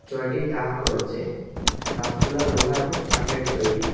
চয়টি তাক রয়েচে তাকগুলা লোহা এবং কাঠের তৈরি।